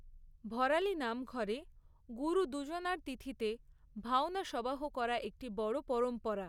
ভরালী নামঘরে গুরু দুজনার তিথিতে ভাওনা সবাহ করা একটি বড় পরম্পরা।